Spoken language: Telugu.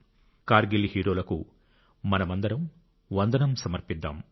కార్గిల్ హీరోలకు మనమందరం వందనం సమర్పిద్దాం